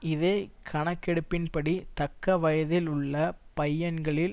இதே கணக்கெடுப்பின்படி தக்க வயதில் உள்ள பையன்களில்